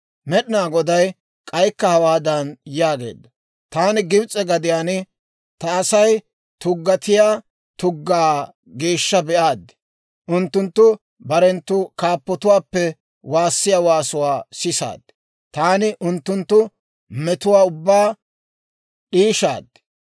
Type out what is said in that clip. Med'inaa Goday k'aykka hawaadan yaageedda; «Taani Gibs'e gadiyaan ta Asay tuggatiyaa tuggaa geeshsha be'aade, unttunttu barenttu kaappotuwaappe waassiyaa waasuwaa sisaade, taani unttunttu metuwaa ubbaa d'iishaad.